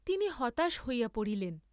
তিনি হতাশ হইয়া পড়িলেন।